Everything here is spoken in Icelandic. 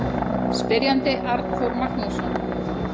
Spyrjandi: Arnþór Magnússon